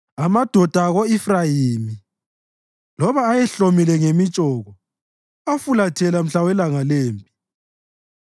Amadoda ako-Efrayimi, loba ayehlomile ngemitshoko, afulathela mhla welanga lempi;